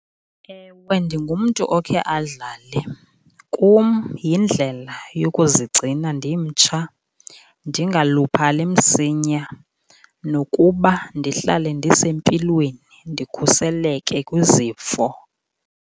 Ewe, ndingumntu okhe adlale. Kum yindlela yokuzigcina ndimtsha, ndingaluphali msinya nokuba ndihlale ndisempilweni, ndikhuseleke kwizifo.